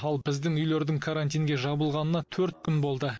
ал біздің үйлердің карантинге жабылғанына төрт күн болды